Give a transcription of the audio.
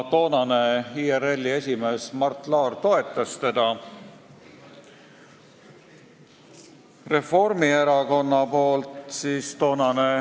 Tollane IRL-i esimees Mart Laar toetas teda.